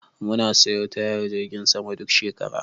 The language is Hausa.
Musa sayo tayar jirgin saman duk shekara.